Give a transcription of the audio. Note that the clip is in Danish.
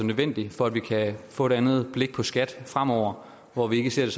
nødvendig for at vi kan få et andet blik på skat fremover hvor vi ikke ser